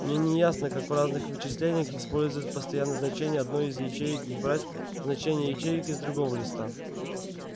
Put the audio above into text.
мне не ясно как в разных вычислениях использовать постоянное значение одной из ячеек и брать значения ячеек из другого листа